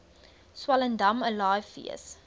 swellendam alive fees